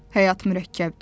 Həyat mürəkkəbdir.